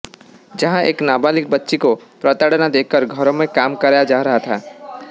जहां एक नाबालिग बच्ची को प्रताड़ना देकर घरों में काम कराया जा रहा था